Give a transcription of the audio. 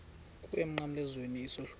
kuwe emnqamlezweni isohlwayo